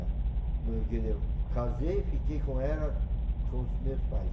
É. Casei e fiquei com ela, com os meus pais.